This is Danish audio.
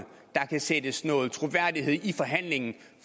der kan sættes noget troværdighed i forhandlingen